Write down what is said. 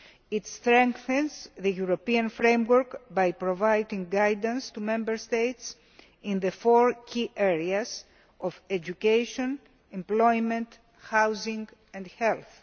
It strengthens the European framework by providing guidance to Member States in the four key areas of education, employment, housing and health.